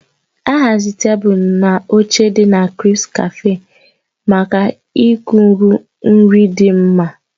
A haziri tebụl na oche dị na "CrispCafe" maka ikuku iri nri dị mma.